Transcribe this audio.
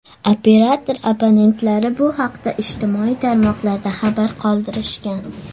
Operator abonentlari bu haqda ijtimoiy tarmoqlarda xabarlar qoldirishgan.